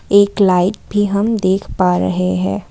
एक लाइट भी हम देख पा रहे हैं।